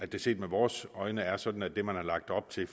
det set med vores øjne er sådan at det man har lagt op til